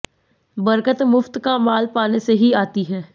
बरकत मुफ्त का माल पाने से ही आती है